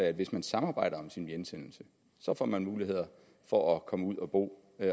at hvis man samarbejder om sin hjemsendelse får man muligheder for at komme ud at bo